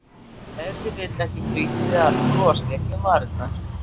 Ef til vill ekki frítt við að bros léki um varir.